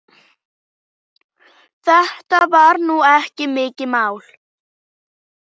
Þetta var nú ekki mikið mál.